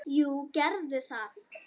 Jú, gerðu það